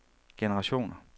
generationer